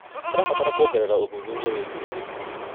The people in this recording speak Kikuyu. Tũrabatara kuongerera ũthuthuria wĩgiĩ ũrĩmi.